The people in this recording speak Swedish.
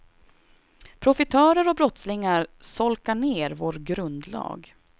Profitörer och brottslingar solkar ner vår grundlag.